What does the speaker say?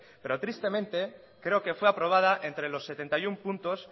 pero tristemente creo que fue aprobada entre los setenta y uno puntos